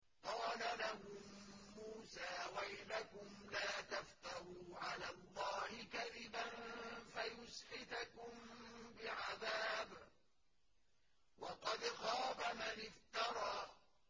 قَالَ لَهُم مُّوسَىٰ وَيْلَكُمْ لَا تَفْتَرُوا عَلَى اللَّهِ كَذِبًا فَيُسْحِتَكُم بِعَذَابٍ ۖ وَقَدْ خَابَ مَنِ افْتَرَىٰ